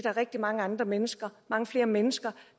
er rigtig mange andre mennesker mange flere mennesker